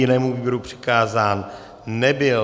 Jinému výboru přikázán nebyl.